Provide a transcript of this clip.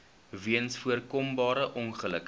weens voorkombare ongelukke